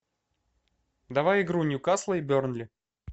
давай игру ньюкасла и бернли